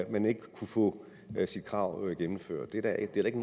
man ikke kunne få sit krav gennemført det er da ikke